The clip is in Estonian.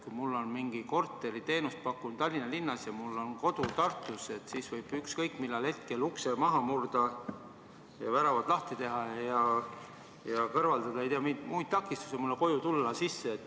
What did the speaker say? Kui mul on mingi korter, ma pakun korteriteenust Tallinna linnas ja mul on kodu Tartus, siis nagu võib ükskõik mis hetkel ukse maha murda ja väravad lahti teha ja kõrvaldada muid takistusi, et minu koju sisse tulla.